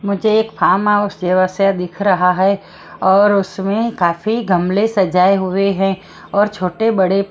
मुझे एक farm house जवा से दिख रहा है और उसमें काफी गमले सजाए हुए हैं और छोटे-बड़े--